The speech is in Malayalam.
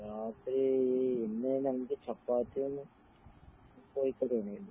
രാത്രീ ഇന്ന് നമുക്ക് ചപ്പാത്തിയും കോഴിക്കറിയും ഉണ്ടാരുന്ന്